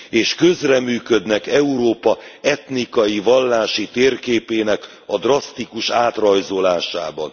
és közreműködnek Európa etnikai vallási térképének a drasztikus átrajzolásában.